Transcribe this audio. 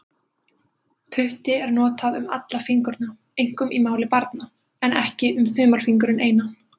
Putti er notað um alla fingurna, einkum í máli barna, en ekki um þumalfingurinn einan.